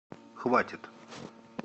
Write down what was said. хватит